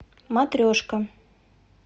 матрешка